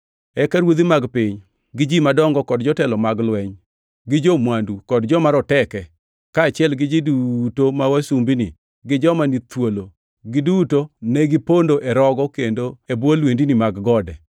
Eka ruodhi mag piny, gi ji madongo, kod jotelo mag lweny, gi jo-mwandu, kod joma roteke, kaachiel gi ji duto ma wasumbini, gi joma ni thuolo, giduto ne gipondo e rogo kendo e bwo lwendni mag gode.